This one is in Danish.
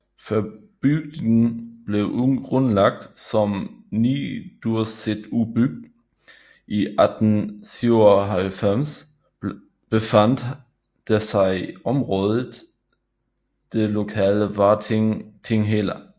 Før bygden blev grundlagt som Niðursetubygd i 1897 befandt der sig i området det lokale Várting Tinghella